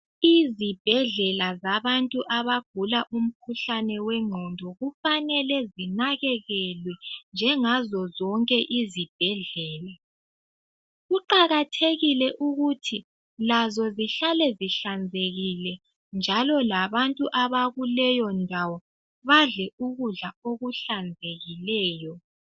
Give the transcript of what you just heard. Izibhedlela zabantu abagula umkhuhlane wengqondo kufanele zinakekekelwe njengazo zonke izibhedlela. Kuqakathekile ukuthi lazo zihlale sihlanzekile njalo labantu abakuleyondawo badle ukudla okuhlanzekileyo.